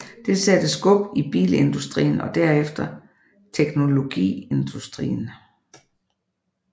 Det satte skub i bilindustrien og derefter teknologiindustrien